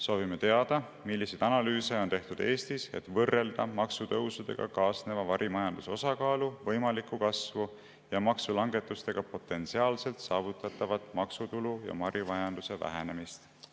Soovime teada, milliseid analüüse on tehtud Eestis, et võrrelda maksutõusudega kaasneva varimajanduse osakaalu võimalikku kasvu ja maksulangetustega potentsiaalselt saavutatavat maksutulu ja varimajanduse vähenemist.